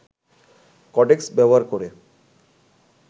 cortex ব্যবহার করে